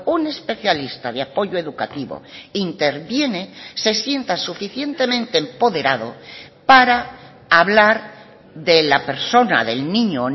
un especialista de apoyo educativo interviene se sienta suficientemente empoderado para hablar de la persona del niño o